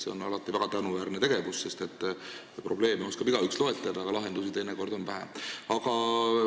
See on alati väga tänuväärne tegevus, sest probleeme oskab igaüks loetleda, aga lahendusi on teinekord vähe.